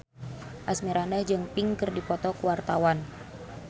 Asmirandah jeung Pink keur dipoto ku wartawan